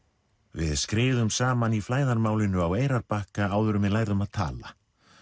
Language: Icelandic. við skriðum saman í flæðarmálinu á Eyrarbakka áður en við lærðum að tala